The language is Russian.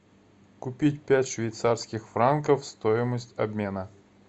купить пять швейцарских франков стоимость обмена